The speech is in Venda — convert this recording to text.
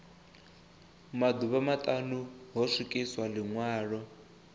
maḓuvha maṱanu ho swikiswa ḽiṅwalo